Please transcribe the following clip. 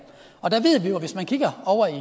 og der ved vi jo at hvis man kigger over i